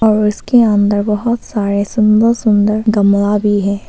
और इसके अंदर बहोत सारे सुंदर सुंदर गमला भी है।